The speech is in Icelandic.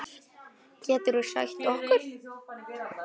Geturðu sagt okkur?